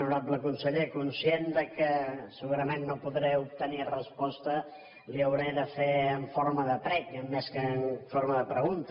honorable conseller conscient que segurament no podré obtenir resposta li ho hauré de fer en forma de prec més que en forma de pregunta